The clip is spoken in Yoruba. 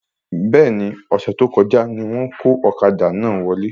Bẹ́ẹ̀ni, ọ̀sẹ̀ tí o kọjá ni wón kó ọ̀kadà náà wọlé